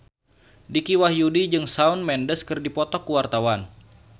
Dicky Wahyudi jeung Shawn Mendes keur dipoto ku wartawan